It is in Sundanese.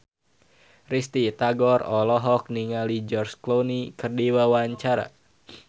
Risty Tagor olohok ningali George Clooney keur diwawancara